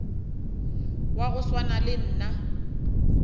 wa go swana le nna